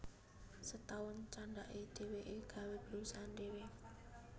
Setaun candhake dheweke gawé perusahaan dhewe